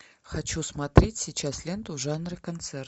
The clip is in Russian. хочу смотреть сейчас ленту в жанре концерт